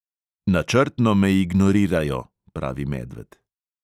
"Načrtno me ignorirajo," pravi medved.